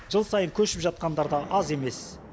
жыл сайын көшіп жатқандар да аз емес